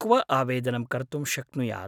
क्व आवेदनं कर्तुं शक्नुयात्?